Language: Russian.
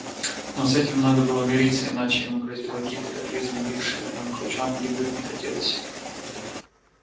но с этим надо было мириться иначе ему грозила гибель а жизни бившей в нем ключом гибнуть не хотелось